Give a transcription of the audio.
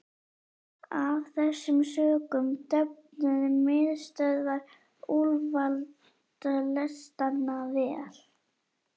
Af þessum sökum döfnuðu miðstöðvar úlfaldalestanna vel.